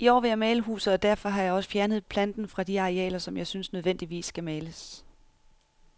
I år vil jeg male huset, og derfor har jeg også fjernet planten fra de arealer, som jeg synes nødvendigvis skal males.